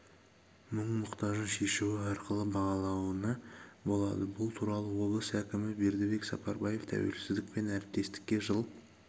мұң-мұқтажын шешуі арқылы бағалауына болады бұл туралы облыс әкімі бердібек сапарбаев тәуелсіздік пен әріптестікке жыл